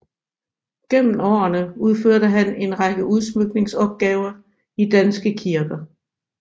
Gennem årene udførte han en række udsmykningsopgaver i danske kirker